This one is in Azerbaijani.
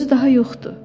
Özü daha yoxdur.